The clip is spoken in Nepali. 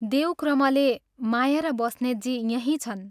देवक्रमले माया र बस्नेतजी यहीं छन्।